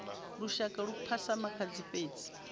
lushaka hu phasa makhadzi fhedzi